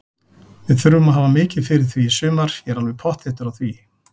Við þurfum að hafa mikið fyrir því í sumar, ég er alveg pottþéttur á því.